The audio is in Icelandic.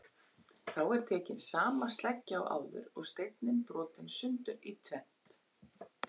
Þá er tekin sama sleggja og áður og steinninn brotinn sundur í tvennt.